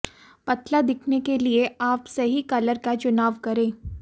पतला दिखने के लिए आप सही कलर का चुनाव करें